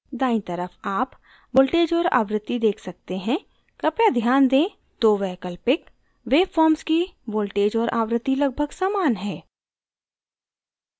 दायीं तरफ आप voltage और आवृत्ति देख सकते हैं कृपया ध्यान दें दो वैकल्पिक वेवफॉर्म्स की voltage और आवृत्ति लगभग समान है